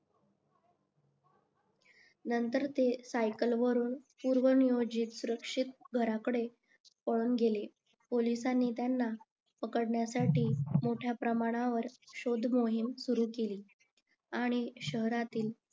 नंतर ते सायकल वरून पूर्वनियोजित घराकडे पळून गेले पोलिसांनी त्यांना त्यांना पकडण्यासाठी मोठ्या प्रमाणावर शोध मोहीम सुरु केली आणि शहरातील